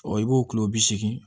i b'o kilo bi seegin